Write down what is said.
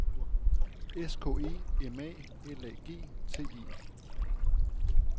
S K E M A L A G T E